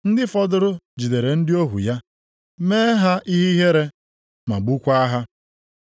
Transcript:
Ndị fọdụrụ jidere ndị ohu ya, mee ha ihe ihere ma gbukwaa ha.